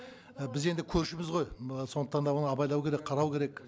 і біз енді көршіміз ғой сондықтан да оны абайлау керек қарау керек